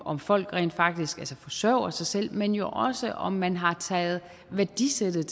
om folk rent faktisk forsørger sig selv men jo også om man har taget værdisættet